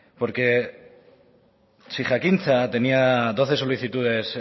porque si jakintza tenía doce solicitudes